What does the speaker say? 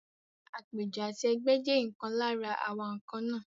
Àpéjọ àti ẹgbẹ́ jẹ́ ìkan lára àwa nǹkan náà.